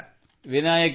ವಿನಾಯಕ್ ಅವರೇ ಅಭಿನಂದನೆ